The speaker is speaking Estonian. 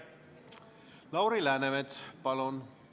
Lauri Läänemets, palun!